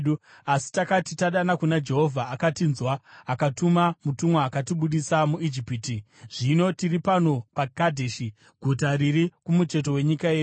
asi takati tadana kuna Jehovha, akatinzwa akatuma mutumwa akatibudisa muIjipiti. “Zvino tiri pano paKadheshi, guta riri kumucheto wenyika yenyu.